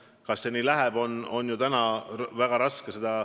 Kas see tõesti nii läheb, on täna raske öelda.